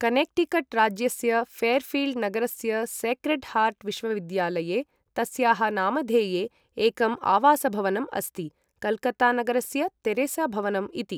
Connecticut राज्यस्य Fairfield नगरस्य Sacred Heart विश्वविद्यालये तस्याः नामधेये एकम् आवासभवनम् अस्ति, कलकत्तानगरस्य तेरेसाभवनम् इति।